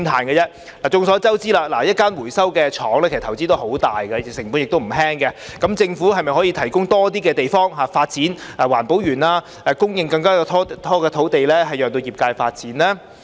眾所周知，一間回收廠的投資十分龐大，成本不菲，政府可否提供更多地方發展環保園，供應更多土地讓業界發展呢？